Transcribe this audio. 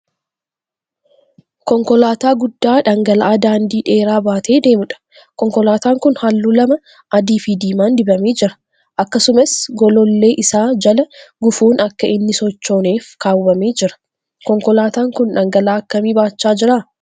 Konkolaataa guddaa dhangala'aa daandii dheeraa baatee deemuudha. Konkolaataan kun halluu lama adii fi diimaan dibamee jira. Akkasumas golollee isaa jala gufuun akka inni sochooneef kaawwamee jira. konkolaataan kun dhangala'aa akkamii baachaa jira?